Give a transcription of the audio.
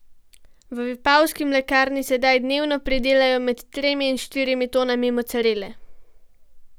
V vipavski mlekarni sedaj dnevno pridelajo med tremi in štirimi tonami mocarele.